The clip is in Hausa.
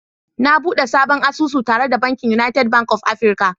Na bude sabon asusu tare da bankin United Bank of Africa